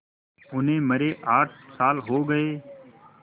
उन्हें मरे आठ साल हो गए